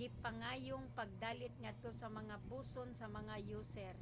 gipangayong pagdalit ngadto sa mga buson sa mga user